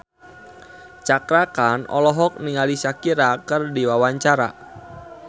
Cakra Khan olohok ningali Shakira keur diwawancara